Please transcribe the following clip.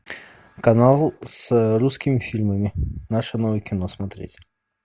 канал с русскими фильмами наше новое кино смотреть